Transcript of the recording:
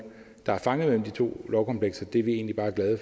der er fanget mellem de to lovkomplekser er vi egentlig bare glade